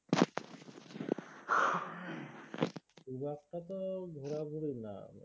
খুব একটা তো ঘোরাঘুরি না